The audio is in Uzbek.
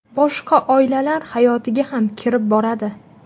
Boshqa oilalar hayotiga ham kirib boradi.